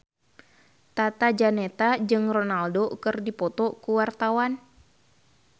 Tata Janeta jeung Ronaldo keur dipoto ku wartawan